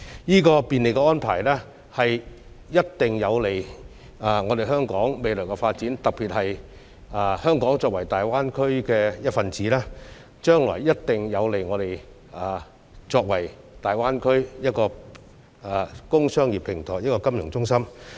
這便利的安排一定有利於香港未來的發展，特別是香港作為大灣區的一分子，這安排將來一定有利於香港成為大灣區工商業平台及金融中心。